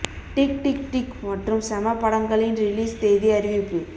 tick tick tick மற்றும் செம படங்களின் ரிலீஸ் தேதி அறிவிப்பு